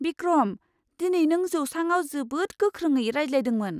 बिक्रम! दिनै नों जौसाङाव जोबोद गोख्रोङै रायज्लायदोंमोन।